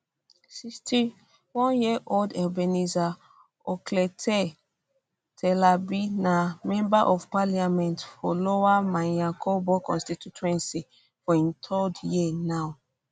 61 year old ebenezer okletey terlabi na um member of parliament for lower manya krobo constituency for im third term now